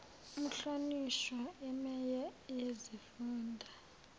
umhlonishwa imeya yesifunda